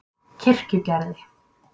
Kirkjugerði